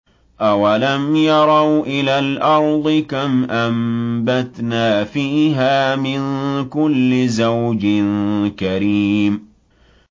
أَوَلَمْ يَرَوْا إِلَى الْأَرْضِ كَمْ أَنبَتْنَا فِيهَا مِن كُلِّ زَوْجٍ كَرِيمٍ